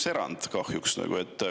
Siin on kahjuks üks erand.